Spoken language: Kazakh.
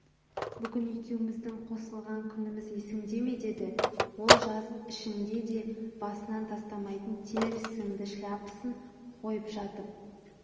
бүгін екеуміздің қосылған күніміз есіңде ме деді ол жаз ішіңде де басынан тастамайтын тер сіңді шляпасын қойып жатып